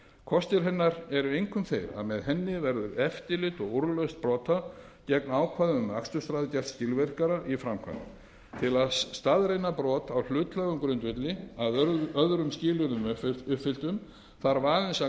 kostir hennar eru einkum þeir að með henni verður eftirlit og úrlausn brota gegn ákvæðum um aksturshraða gert skilvirkara í framkvæmd til að staðreyna brot á hlutlægum grundvelli að öðrum skilyrðum uppfylltum þarf aðeins að